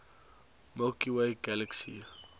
milky way galaxy